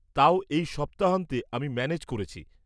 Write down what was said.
-তাও, এই সপ্তাহান্তে আমি ম্যানেজ করেছি।